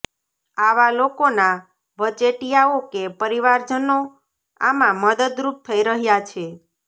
આવા લોકોના વચેટિયાઓ કે પરિવારજનો આમાં મદદ રૂપ થઇ રહ્યા છે